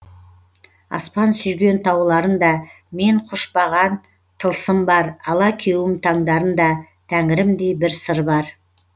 аспан сүйген тауларында мен құшпаған тылсым бар алаукеуім таңдарында тәңірімдей бір сыр бар